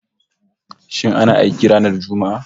Shin ana aiki ranar Juma'a?